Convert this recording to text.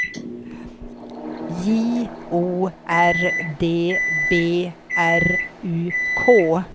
J O R D B R U K